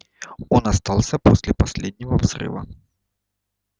он остался после последнего взрыва